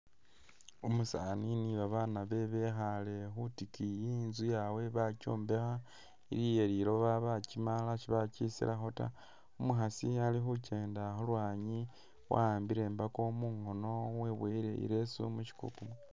Umusaani ni babaana bewe bekhale khutikiyi, inzu yabwe bakyombekha ili iyeliloba bakyimala sibakyisilamo taa, umukhaasi Ali khukyenda khulwanyi wa'ambile imbako mungono weboyile i'leesu mushikuku